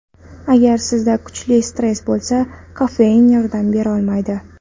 Agar sizda kuchli stress bo‘lsa, kofein yordam berolmaydi.